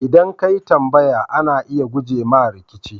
ldan ka yi tambaya, ana iya guje wa rikici.